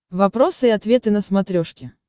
вопросы и ответы на смотрешке